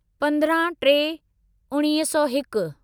पंद्रह टे उणिवीह सौ हिकु